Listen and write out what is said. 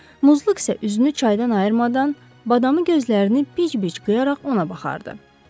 Muzluq isə üzünü çaydan ayırmadan, badamı gözlərini bic-bic qıyaraq ona baxardı.